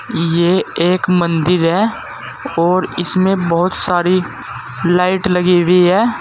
ये एक मंदिर है और इसमें बहुत सारी लाइट लगी हुई है।